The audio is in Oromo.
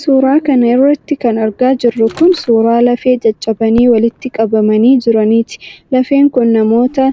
Suura kana irratti kan argaa jirru kun, suura lafee caccabanii walitti qabamanii jiraniiti. Lafeen kun namoota